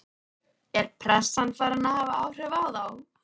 Er pressan farin að hafa áhrif á þá?